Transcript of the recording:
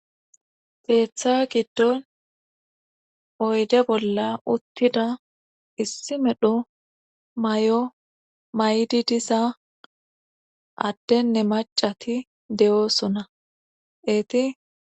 teeththa giddon oyde bolla uttida issi medho may7o may7idi disa addenne macati de7oosona eeti